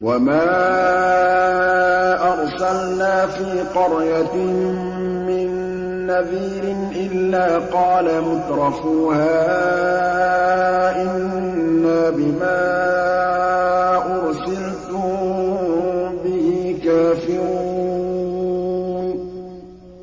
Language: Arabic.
وَمَا أَرْسَلْنَا فِي قَرْيَةٍ مِّن نَّذِيرٍ إِلَّا قَالَ مُتْرَفُوهَا إِنَّا بِمَا أُرْسِلْتُم بِهِ كَافِرُونَ